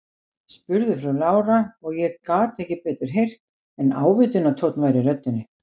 spurði frú Lára, og ég gat ekki betur heyrt en ávítunartónn væri í röddinni.